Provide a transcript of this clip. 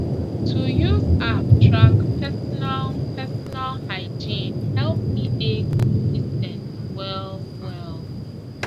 to use app track personal personal hygiene help me dey consis ten t well well